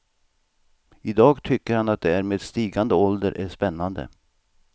I dag tycker han att det här med stigande ålder är spännande.